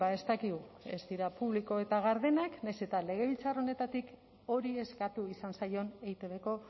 ez dakigu ez dira publiko eta gardenak nahiz eta legebiltzar honetatik hori eskatu izan zaion eitbko